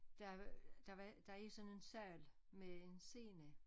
Der var øh der var der er sådan en sal med en scene